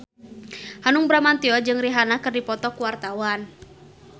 Hanung Bramantyo jeung Rihanna keur dipoto ku wartawan